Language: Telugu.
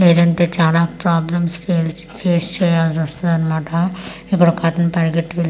లేదంటే చాలా ప్రాబ్లమ్స్ ఫేస్ చేయాల్సి వస్తదన్నమాట ఇక్కడ ఒకతను పరిగెట్టుకెళ్ళి--